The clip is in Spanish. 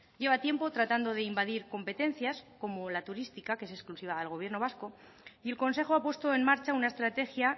lleva tiempo tratando de invadir competencias como la turística que es exclusiva del gobierno vasco y el consejo ha puesto en marcha una estrategia